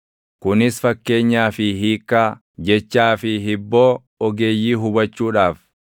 kunis fakkeenyaa fi hiikkaa, jechaa fi hibboo ogeeyyii hubachuudhaaf.